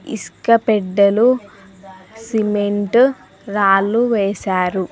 ఇసుక పెడ్డెలు సిమెంటు రాళ్లు వేశారు.